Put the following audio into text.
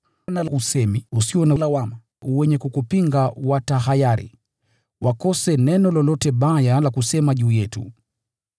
na usemi sahihi usio na lawama, ili wanaokupinga watahayari, wakose neno lolote baya la kusema juu yetu.